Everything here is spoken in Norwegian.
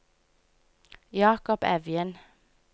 Jacob Evjen